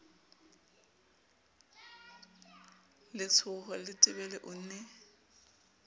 le letsho letebele o ne